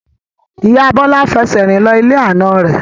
Ìyá Bọlá fẹsẹ̀ rìn lọ ilé àna rẹ̀